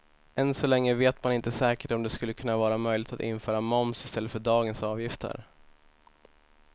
Ännu så länge vet man inte säkert om det skulle kunna vara möjligt att införa moms i stället för dagens avgifter.